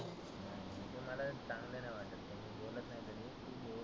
ते मला चांगलं नाही वाटत. मी बोलत नाही कधी.